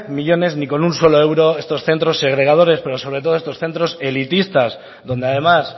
millónes ni con un solo euro estos centros segregadores pero sobre todo estos centros elitistas donde además